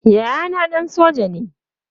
Yayana ɗan soja ne.